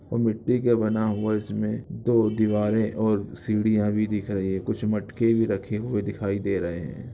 वह मिट्टी का बना हुआ इसमें दो दीवारे और सीढ़ियां भी दिख रही है कुछ मटके भी रखे हुए दिखाई दे रहे है।